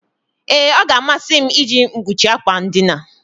Ee, ọ ga-amasị m iji mkpuchi akwa ndina.